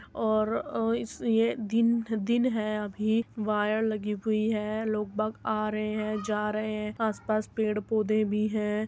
और अ इस ये दिन दिन है अभी वायर लगी हुई है लोग बाग आ रहे हैं जा रहे हैं आसपास पेड़-पोधे भी हैं।